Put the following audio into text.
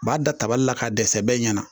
U b'a da tabali la k'a dɛsɛ bɛɛ ɲɛna